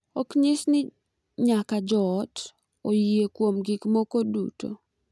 Ok nyis ni nyaka jo ot oyie kuom gik moko duto.